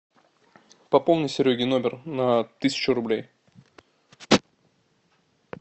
пополни сереге номер на тысячу рублей